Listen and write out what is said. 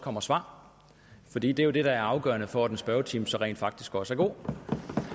kommer svar for det er jo det der er afgørende for om en spørgetime så rent faktisk også er god